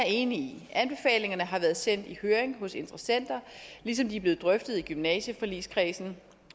enig i anbefalingerne har været sendt i høring hos interessenter ligesom de er blevet drøftet i gymnasieforligskredsen